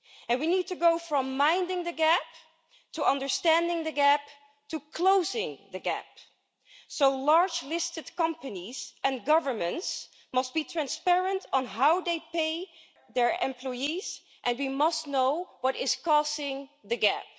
We need to go from minding the gap to understanding the gap to closing the gap, so large listed companies and governments must be transparent on how they pay their employees and we must know what is causing the gap.